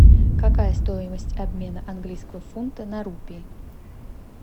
какая стоимость обмена английского фунта на рупий